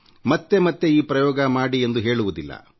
ಮತ್ತೆ ಮತ್ತೆ ಈ ಪ್ರಯೋಗ ಮಾಡಿ ಎಂದು ನಾನು ಹೇಳುವುದಿಲ್ಲ